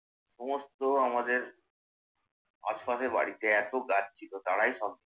সমস্ত আমাদের আস্ফানের বাড়িতে এত গাছ ছিল তারাই সব